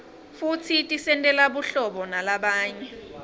futsi tisentela buhlabo nalabanye